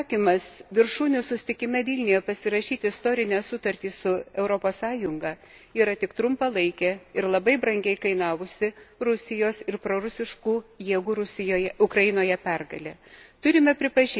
Ukrainos atsisakymas viršūnių susitikime Vilniuje pasirašyti istorinę sutartį su Europos Sąjunga yra tik trumpalaikė ir labai brangiai kainavusi Rusijos ir prorusiškų jėgų Ukrainoje pergalė.